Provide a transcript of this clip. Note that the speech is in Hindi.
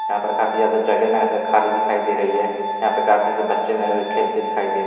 यहाँ पर काफी ज्यादा जगह न ऐसे खाली दिखाई दे रही है यहाँ पे काफी बच्चे ने वे खेलते दिखाई दे --